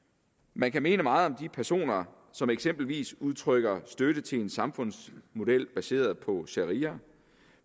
man kan mene meget om de personer som eksempelvis udtrykker støtte til en samfundsmodel baseret på sharia